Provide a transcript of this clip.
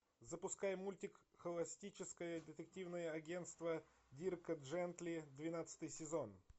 запускай мультик холистическое детективное агентство дирка джентли двенадцатый сезон